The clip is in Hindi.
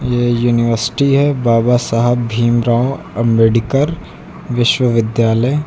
ये यूनिवसिटी है बाबा साहब भीमराव अंबेडकर विश्वविद्यालय--